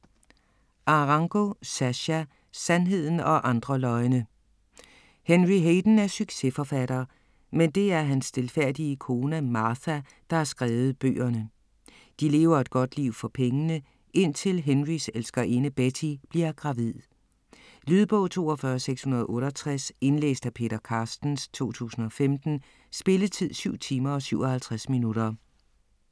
Arango, Sascha: Sandheden og andre løgne Henry Hayden er succesforfatter, men det er hans stilfærdige kone Martha, der har skrevet bøgerne. De lever et godt liv for pengene, indtil Henrys elskerinde Betty bliver gravid. Lydbog 42668 Indlæst af Peter Carstens, 2015. Spilletid: 7 timer, 57 minutter.